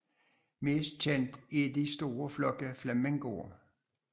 Mest kendt er de store flokke flamingoer